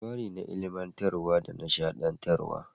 Labari na ilimantarwa da nishadantarwa.